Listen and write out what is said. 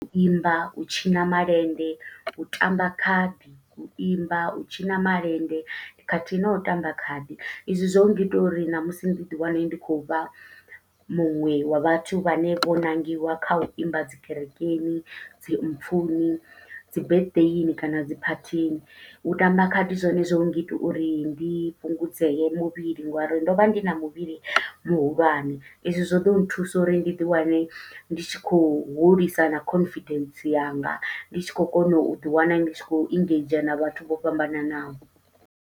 U imba, u tshina malende, u tamba khadi, u imba, u tshina malende, khathihi no tamba khadi. I zwi zwo ngita uri ṋamusi ndi ḓi wane ndi khou vha muṅwe wa vhathu vhane vho ṋangiwa kha u imba dzi kerekeni, dzi mpfuni, dzi birthday-ini, kana dzi phathini. U tamba khadi zwone zwo ngita uri ndi fhungudzee muvhili ngo uri ndo vha ndi na muvhili muhulwane, e zwi zwo ḓo nthusa uri ndi ḓi wane ndi tshi khou hulisa na confidence yanga. Ndi tshi khou kona u ḓi wana ndi tshi khou engage na vhathu vho fhambananaho.